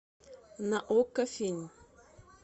на окко фильм